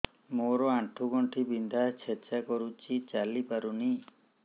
ମୋର ଆଣ୍ଠୁ ଗଣ୍ଠି ବିନ୍ଧା ଛେଚା କରୁଛି ଚାଲି ପାରୁନି